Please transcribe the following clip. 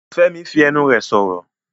Fẹ́mi fi ẹnu rẹ̀ sọ̀rọ̀.